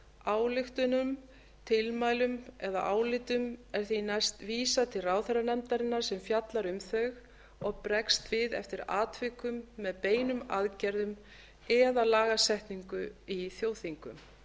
ályktunum tilmælum eða álitum er því næst vísað til ráðherranefndarinnar sem fjallar um þau og bregst við eftir atvikum með beinum aðgerðum eða lagasetningu í þjóðþingum